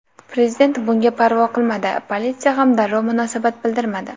Prezident bunga parvo qilmadi, politsiya ham darrov munosabat bildirmadi.